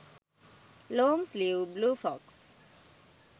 long sleeve blue frocks